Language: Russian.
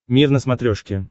мир на смотрешке